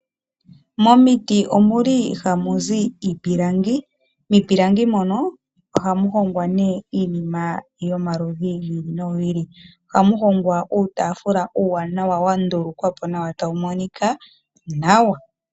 Momiti omuli ha muzi iipilangi. Miipilangi mono ohamu hongwa neeiinima yo ma ludhi gi ili no gi ili. Ohamu hongwa uutafula uuwanawa wa ndulukwa po nawa, tawu moni nawa.